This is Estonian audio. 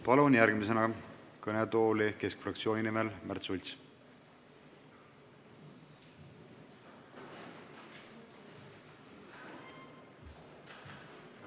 Palun järgmisena kõnetooli Keskerakonna fraktsiooni nimel kõnelema Märt Sultsi!